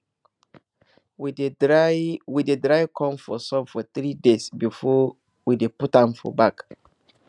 we dey dry we dey dry corn for sun for three days before we dey put am for bag